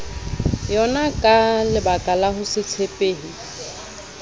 yonaka lebakala ho se tshepehe